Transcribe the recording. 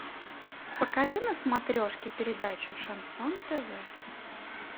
покажи на смотрешке передачу шансон тв